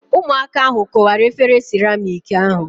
Ụmụaka ahu kụwara efere siramịk ahu